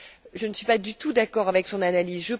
je ne suis pas du tout d'accord avec son analyse.